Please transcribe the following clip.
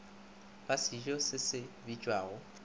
ba sejo se se bitšwago